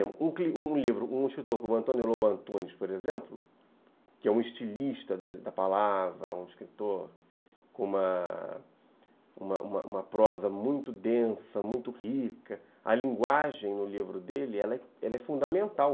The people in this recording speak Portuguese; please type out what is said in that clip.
Um um livro, um escritor como Lobo Antunes, por exemplo, que é um estilista da da palavra, um escritor com uma com uma uma prosa muito densa, muito rica, a linguagem no livro dele é fundamental.